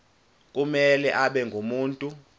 kumele abe ngumuntu